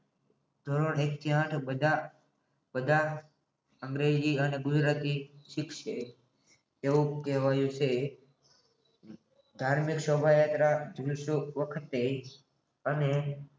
ધોરણ એક થી આથ વધારે બધા અંગ્રેજી અને ગુજરાતી શીખશે તેવું કહેવાયું છે ધાર્મિક સ્વાભાવી જરા વખતે અને